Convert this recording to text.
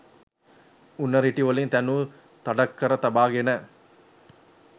උණ රිටි වලින් තැනු තඩක් කර තබාගෙන